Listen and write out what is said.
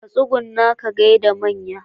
Ka tsugunna ka gaida manya.